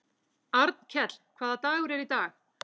Arnkell, hvaða dagur er í dag?